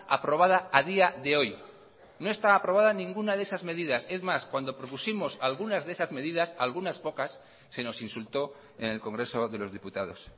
aprobada a día de hoy no está aprobada ninguna de esas medidas es más cuando propusimos algunas de esas medidas algunas pocas se nos insultó en el congreso de los diputados